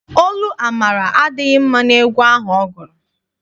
Olu Amara adịghị mma n'egwu ahụ ọ gụrụ.